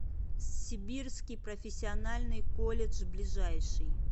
сибирский профессиональный колледж ближайший